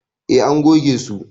E, an goge su.